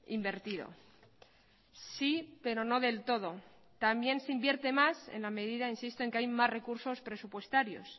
invertido sí pero no del todo también se invierte más en la medida insisto en que hay más recursos presupuestarios